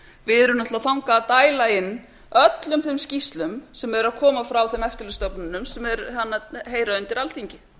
við erum að dæla þangað inn öllum þeim skýrslum sem eru að koma frá þeim eftirlitsstofnunum sem heyra undir alþingi